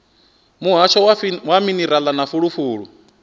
muhasho wa minerala na fulufulu